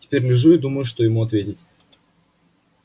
теперь лежу и думаю что ему ответить